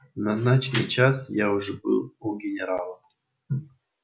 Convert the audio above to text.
в назначенный час я уже был у генерала